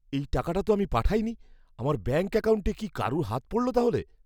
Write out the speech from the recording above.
এই টাকাটা তো আমি পাঠাইনি। আমার ব্যাঙ্ক অ্যাকাউন্টে কি কারুর হাত পড়ল তাহলে?